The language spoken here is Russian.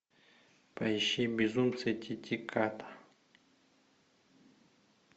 поищи безумцы титиката